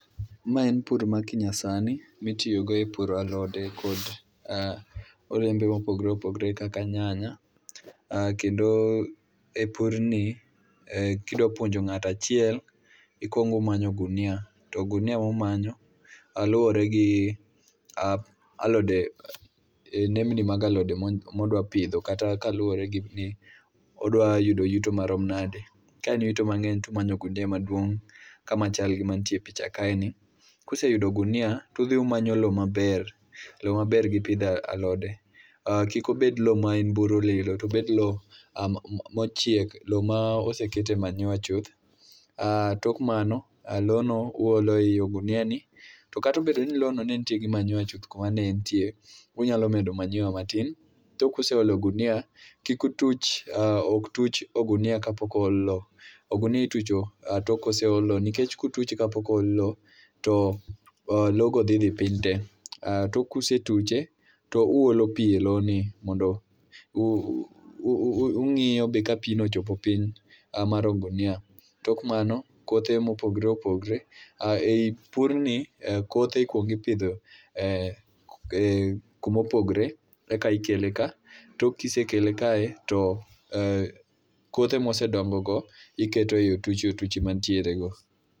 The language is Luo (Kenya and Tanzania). Ma en pur ma ki nyasani mitiyo go e puro alode kod olembe mopogore opogore kaka nyanya kendo e purni, kidwa puonjo ng'ato achiel ikuongo imanyo ogunia. To ogunia ma umanyo luwore gi ah alode nembni mag alode ma idwa pidho kata ka luwore gi odwa yudo yuto marom nadi. Ka en yuto mang'eny to umanyo ogunia maduong' ka machal gi matie picha kaeni. Ka useyudo ogunia to udhi umanyo lowo maber. Lowo maber gi pidho alode. Kik obed lowo ma en buru lilo to obed lowo mochiek lowo mosekete manyiwa chuth. Tok mano, lowono uolo ei ogunia, to kata obedo ni lowono nenitie gi manyiwa kuma ne entieno, unyalo medo manyiwa matin tok kuseolo gunia, kik utuch ok tuch oginia kapok ool lowo. Ogunia itucho tok koseol lowo nikech kautuche kapok ool lowo to lowogo dhi dhi piny te. Tok ka usetuche to uolo pi e lowono. Ung'iyo be kapino ochopo piny mar ogunia. Tok mano, kothe mopogore opüogore, eipurni kothe ikuongo ipidho kuma opogre eka ikeleka. Tok kisekele kae, to kothe mosedongo go, iketo ei otuchi otiuchi mantierego